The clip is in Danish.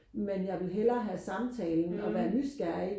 men jeg vil hellere have samtalen og være nysgerrig